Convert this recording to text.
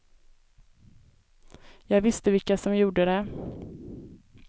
Jag visste vilka som gjort det.